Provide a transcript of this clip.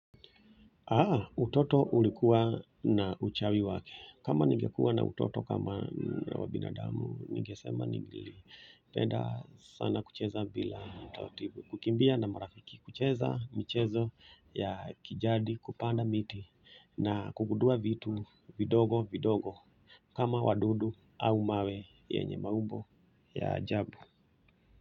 Aa utoto ulikuwa na uchawi wake. Kama ninge kuwa na utoto kama wabinadamu ningesema nili penda sana kucheza bila utaratibu. Kukimbia na marafiki kucheza michezo ya kijadi kupanda miti na kugundua vitu vidogo vidogo kama wadudu au mawe yenye maumbo ya ajabu.